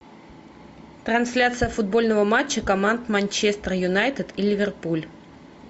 трансляция футбольного матча команд манчестер юнайтед и ливерпуль